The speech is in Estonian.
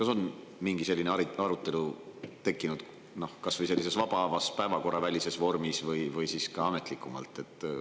Kas on mingi selline arutelu tekkinud kas või vabamas päevakorravälises vormis või ametlikumalt?